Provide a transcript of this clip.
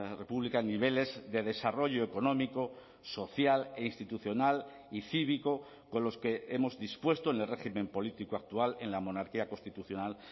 república niveles de desarrollo económico social e institucional y cívico con los que hemos dispuesto en el régimen político actual en la monarquía constitucional